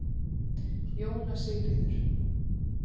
Jóna Sigríður